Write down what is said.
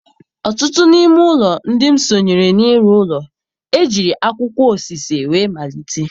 Ọtụtụ n'ime ụlọ ndị m sonyere n'ịrụ ụlọ, ejiri akwụkwọ osise wee malite